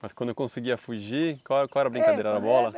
Mas quando conseguia fugir, qual qual era a brincadeira, era bola?